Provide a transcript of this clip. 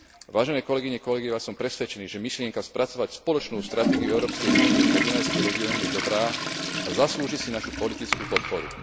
Vážené kolegyne, kolegovia, som presvedčený, že myšlienka spracovať spoločnú stratégiu Európskej únie pre Dunajský región je dobrá a zaslúži si našu politickú podporu.